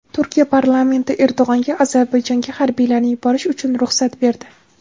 Turkiya parlamenti Erdo‘g‘onga Ozarbayjonga harbiylarni yuborish uchun ruxsat berdi.